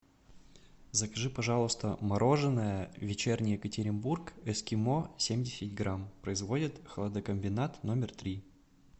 закажи пожалуйста мороженое вечерний екатеринбург эскимо семьдесят грамм производит хладокомбинат номер три